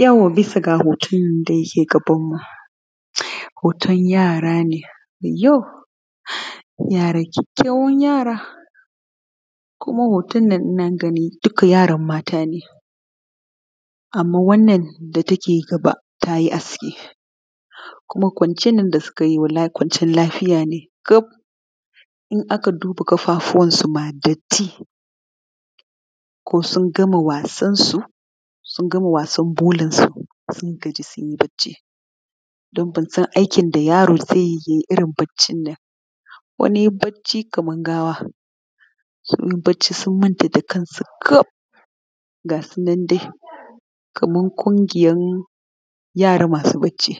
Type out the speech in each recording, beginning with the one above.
Yau bisa ga hoton da yake gabanmu hoton yara ne wayyo kyakykyawan yara kuma hoton nan ina ganin duka yaran matane, anman wannan da take gaba ta yi aski kuma kwanciyan nan da suka yi wallahi kwanciyan lafiya ne gab in aka duba ma ƙafafuwansuma datti ko sun gama wasansu, sun gama wasan bulansu sun gaji sun yi bacci don ban san irin aikin da yaro zai irn baccin nan bacci kaman gawa suna bacci sunmanta kan su kafin gasu nan dai kaman ƙungiyan yara masu bacci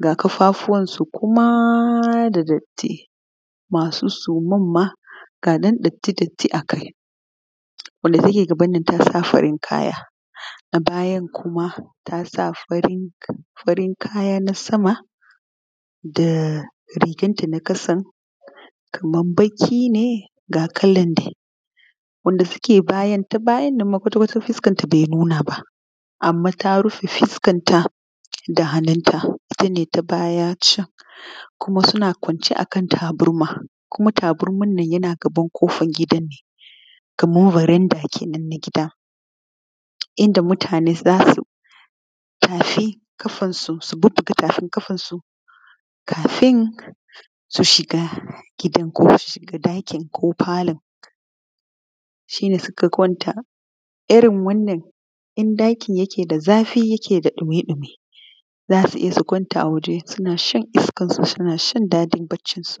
ga ƙafafuwansuma da datti masu sumanma ga datti datti akai wanda take gabannnan tasa farin kaya na bayan kuma tsa farin kayan sama da riganta na ƙasan kaman baƙine ga kalanma na bayanma kwat kwata fuskanta bai nunaba anman ta rufe fuskanta da hannunta itane na gbaya can kuma suna kwance akan tabarma tabarman yana gaban ƙofan gidanne kaman baranda kenan na gida inda mutane zasu bubbuga tafin ƙafansu kafin su shiga gidan ɗakin ko falon shine suka kwanta irin wannan ɗakin yake da zafi yakeda ɗuye ɗuye zasuje su kwanta a waje suna shan iskansu sunashan daɗin baccinsu.